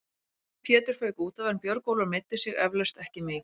Pétur fauk útaf en Björgólfur meiddi sig eflaust ekki mikið.